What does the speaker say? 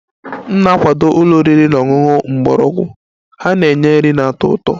M ga-akwado ụlọ oriri na ọṅụṅụ mgbọrọgwụ, ha na-enye nri na-atọ ụtọ